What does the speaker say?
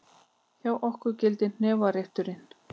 Hjá okkur gildir hnefarétturinn!